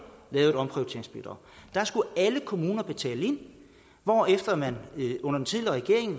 lavede et omprioriteringsbidrag der skulle alle kommuner betale ind hvorefter man under den tidligere regering